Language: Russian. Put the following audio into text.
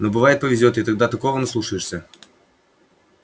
но бывает повезёт и тогда такого наслушаешься